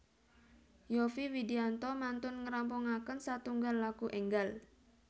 Yovie Widianto mantun ngerampungaken satunggal lagu enggal